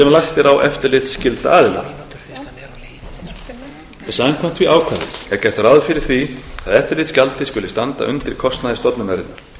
lagt er á eftirlitsskylda aðila samkvæmt því ákvæði er gert ráð fyrir því að eftirlitsgjaldið skuli standa undir kostnaði stofnunarinnar